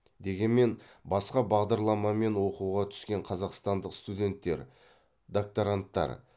дегенмен басқа бағдарламамен оқуға түскен қазақстандық студенттер докторанттар